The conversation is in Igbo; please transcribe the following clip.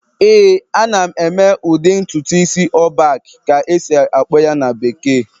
ee, ana m eme udi ntutu isi "all back" ka a esi-akpọ ya na bekee